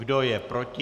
Kdo je proti?